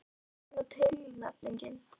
Var þetta eina tilnefningin?